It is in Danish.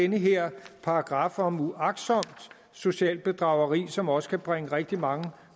den her paragraf om uagtsomt socialt bedrageri som også kan bringe rigtig mange